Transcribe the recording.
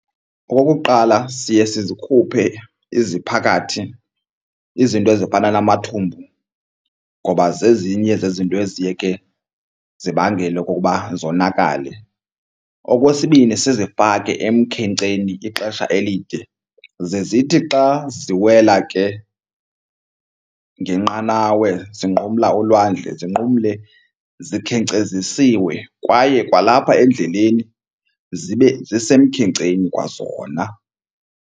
Okokuqala, siye sizikhuphe iziphakathi izinto ezifana namathumbu ngoba zezinye zezinto eziye ke zibangele okokuba zonakale. Okwesibini, sizifake emkhenkceni ixesha elide ze zithi xa ziwela ke ngenqanawe zinqumla ulwandle sinqumle zikhenkcezisiwe kwaye kwalapha endleleni zibe zisemkhenkceni kwazona.